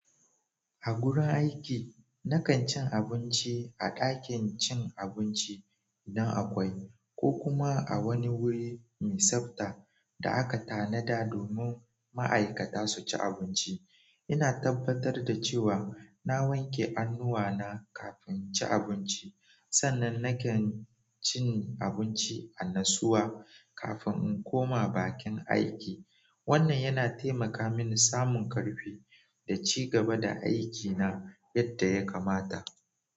A gurin aiki, na kan cin abinci a ɗakin cin abinci idan akwai, ko kuma a wani wuri mai tsabta da aka tanada domin ma'aikata su ci abinci. Ina tabbatar da cewa na wanke hannuwa na kafin inci abinci sannan na kan cin abinci a nassuwa kafin in koma bakin aiki. Wannan yana taimaka mini samun ƙarfi da ci gaba da aikina yadda ya kamata.